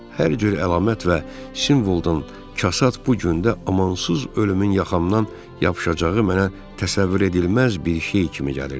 Hər cür əlamət və simvoldan kasad bu gündə amansız ölümün yaxamdan yapışacağı mənə təsəvvür edilməz bir şey kimi gəlirdi.